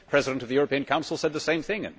The President of the Council said the same thing.